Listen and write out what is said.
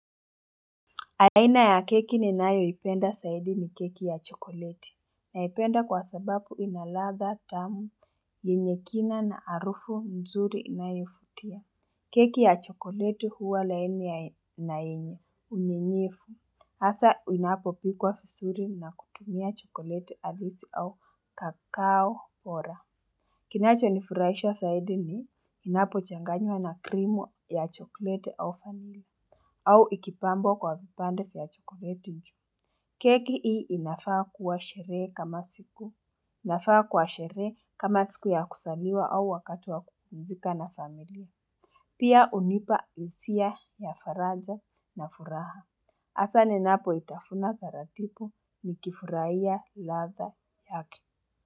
Aina ya keki ninayoipenda zaidi ni keki ya chokoleti. Naipenda kwa sababu ina ladha tamu yenye kina na harufu nzuri inayovutia. Keki ya chokoleti huwa laini na yenye unyenyevu. Hasa inapopikwa visuri na kutumia chokoleti halisi au kakaoora. Kinachonifurahisha zaidi ni inapochanganywa na krimu ya chokoleti au vanila. Au ikipambwa kwa vipande vya chokoleti juu. Keki hii inafaa kuwa sherehe kama siku. Inafaa kwa sherehe kama siku ya kuzaliwa au wakati wa kupumzika na familia. Pia hunipa hisia ya faraja na furaha. Hasa ninapoitafuna taratibu nikifurahia ladha yake.